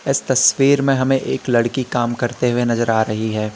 यह तस्वीर में हमें एक लड़की काम करते हुए नजर आ रही है।